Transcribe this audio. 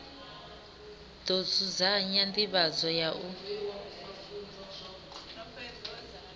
ḓo dzudzanya nḓivhadzo ya u